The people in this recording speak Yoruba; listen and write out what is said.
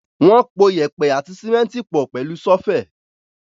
Wọ́n po yèèpẹ̀ àti símẹ́ńtì pọ̀ pẹ̀lú ṣọ́fẹ̀.